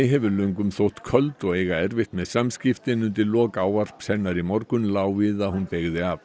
hefur löngum þótt köld og eiga erfitt með samskipti en undir lok ávarps hennar í morgun lá við að hún beygði af